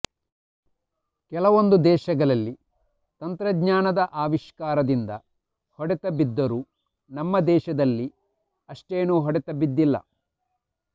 ಕೆಲವೊಂದು ದೇಶಗಳಲ್ಲಿ ತಂತ್ರಜ್ಞಾನದ ಅವಿಷ್ಕಾರದಿಂದ ಹೊಡೆತ ಬಿದ್ದರೂ ನಮ್ಮ ದೇಶದಲ್ಲಿ ಅಷ್ಟೇನು ಹೊಡೆತ ಬಿದ್ದಿಲ್ಲ